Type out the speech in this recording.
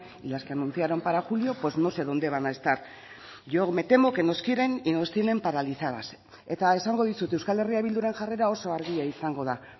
y las que anunciaron para julio pues no sé dónde van a estar yo me temo que nos quieren y nos tienen paralizadas eta esango dizut euskal herria bilduren jarrera oso argia izango da